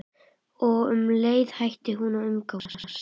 Og um leið hætti hún að umgangast